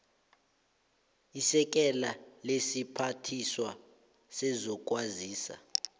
isekela lesiphathiswa sezokwazisa